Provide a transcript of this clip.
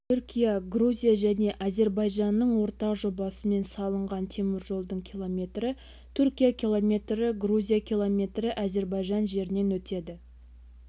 түркия грузия және әзербайжанның ортақ жобасымен салынған теміржолдың километрі түркия километрі грузия километрі әзербайжан жерінен өтеді